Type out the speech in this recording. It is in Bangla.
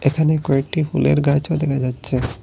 এখানে কয়েকটি ফুলের গাছও দেখা যাচ্ছে।